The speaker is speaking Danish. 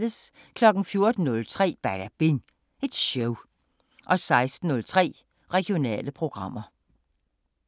14:03: Badabing Show 16:03: Regionale programmer